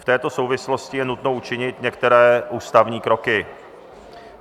V této souvislosti je nutno učinit některé ústavní kroky.